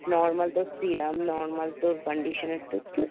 normal তোর serum normal তোর conditioner